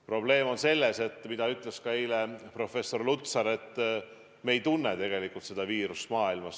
Probleem on selles, nagu ütles ka eile professor Lutsar, et me ei tunne tegelikult seda viirust maailmas.